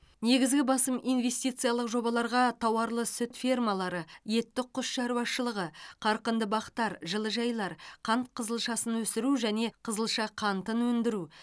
негізгі басым инвестициялық жобаларға тауарлы сүт фермалары етті құс шаруашылығы қарқынды бақтар жылыжайлар қант қызылшасын өсіру және қызылша қантын өндіру